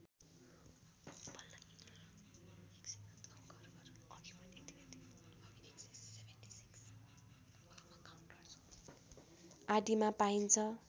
आदिमा पाइन्छ